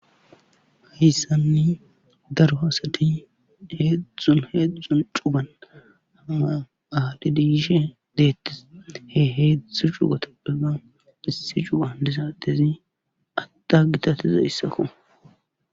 Hayssani daro asati heedzdzu heedzdzun cugan aadhidi yidhe beetis he heedzdzu cugatappeka issi cugan diza addezi adda gitatiza addeko.